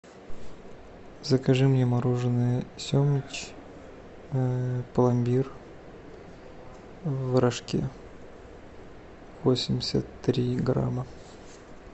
закажи мне мороженое семыч пломбир в рожке восемьдесят три грамма